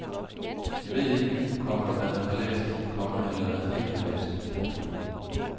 Jeg ved ikke, komma hvad han har læst, komma eller hvad han ikke har læst. punktum